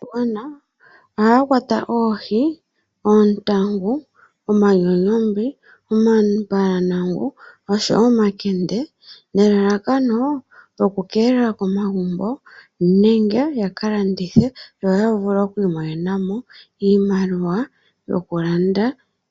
Aakwashigwana ohaya kwata oohi, oontangu, omanyonyongwi, omambalanangu oshowo omakende nelalakano lyoku keelela komagumbo nenge yaka landithe yo ya vule oku imonena mo iimaliwa yoku landa